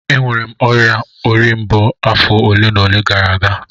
Enwere m ọrịa ori mbo afọ ole na ole gara aga